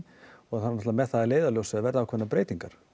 með það að leiðarljósi að það verði einhverjar breytingar